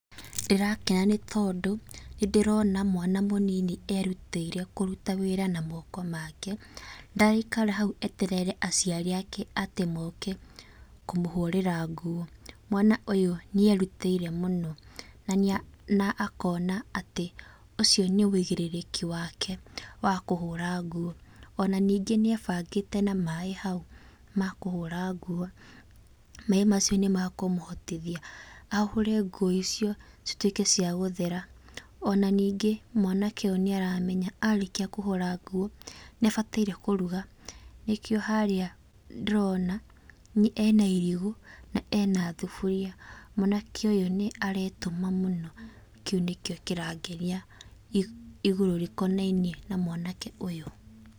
Ndĩrakena nĩtondũ, nĩndĩrona mwana mũnini erutĩire kũruta wĩra na moko make, ndaraikara hau atĩ eterere aciari ake atĩ moke kũmũhũrĩra nguo. Mwana ũyũ nĩerutĩire mũno na nĩa, na akona atĩ ũcio nĩ wĩigĩrĩrĩki wake wa kũhũra nguo. Ona ningĩ nĩaebangĩte na maĩ hau ma kũhũra nguo. Maĩ macio nĩmekũmũhotithia, ahũre nguo icio cituĩke cia gũthera. Ona ningĩ mwanake ũyũ nĩaramenya arĩkia kũhũra nguo, nĩabataire kũruga nĩkĩo harĩa ndĩrona ena irigũ na ena thuburia. Mwanake ũyũ nĩaretũma mũno, na kĩu nĩkĩo kĩrangenia igũrũ rĩkonainie na mwanake ũyũ.